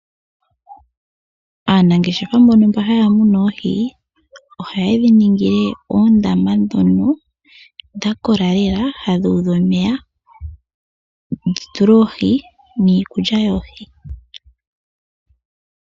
Aanangeshefa mbono haya muna oohi, ohaye dhi ningile oondama ndhono dha kola lela, hadhi udha omeya dhi tulwe oohi niikulya yoohi.